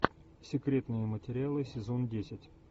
секретные материалы сезон десять